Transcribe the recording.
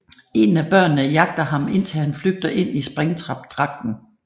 En af børnene jagter ham indtil han flygter ind i Springtrap dragten